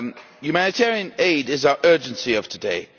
Humanitarian aid is our urgency of today.